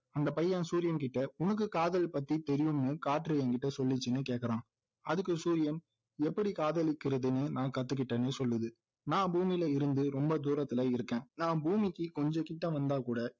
அந்த பையன் சூரியன் திட்ட உனக்கு காதல் பத்தி தெரியும்னு காற்று என்கிட்ட சொல்லிச்சுன்னு கேக்குறான் அதுக்கு சூரியன் எப்படி காதலிக்கிறதுன்னு நான் கத்துகிட்டேன்னு சொல்லுது நான் பூமியில இருந்து ரொம்ப தூரத்துல இருக்கேன் நான் பூமிக்கு கொஞ்சம் கிட்ட வந்தாகூட